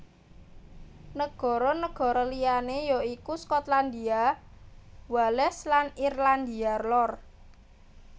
Nagara nagara liyané ya iku Skotlandia Wales lan Irlandia Lor